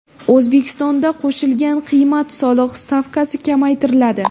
O‘zbekistonda qo‘shilgan qiymat solig‘i stavkasi kamaytiriladi.